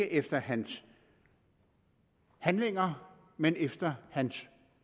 efter hans handlinger men efter hans